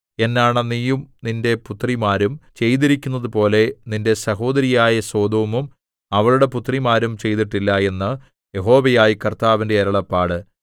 എന്നാണ നീയും നിന്റെ പുത്രിമാരും ചെയ്തിരിക്കുന്നതുപോലെ നിന്റെ സഹോദരിയായ സൊദോമും അവളുടെ പുത്രിമാരും ചെയ്തിട്ടില്ല എന്ന് യഹോവയായ കർത്താവിന്റെ അരുളപ്പാട്